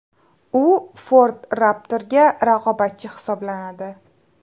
U Ford Raptor’ga raqobatchi hisoblanadi.